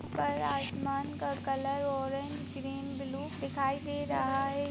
पर आसमान का कलर ऑरेंज ग्रीन ब्लू दिखाई दे रहा है।